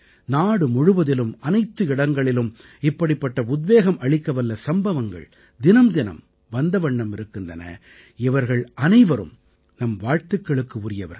நாடு முழுவதிலும் அனைத்து இடங்களிலும் இப்படிப்பட்ட உத்வேகம் அளிக்கவல்ல சம்பவங்கள் தினம் தினம் வந்தவண்ணம் இருக்கின்றன இவர்கள் அனைவரும் நம் வாழ்த்துக்களுக்கு உரியவர்கள்